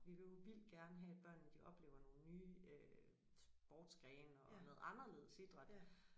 Vi vil jo vildt gerne have at børnene de oplever nogle nye øh sportsgrene og noget anderledes idræt